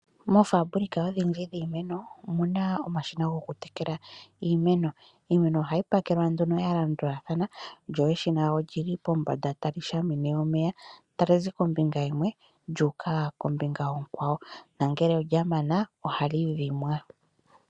Moofabulika odhindji dhiimeno, omu na omashina gokutekela iimeno. Iimeno ohayi pakelwa nduno ya landulathana lyo eshina oli li pombanda tali shamine omeya, tali zi kombinga yimwe lyu uka kombinga onkwawo nongele olya mana ohali dhimwa.